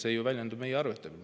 See ju väljendub meie arvetel.